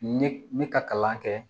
Ne ka kalan kɛ